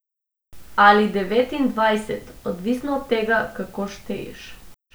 Ali devetindvajset, odvisno od tega, kako šteješ.